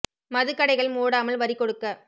மதுகடைகள் மூடாமல் வரிகொ டுக்க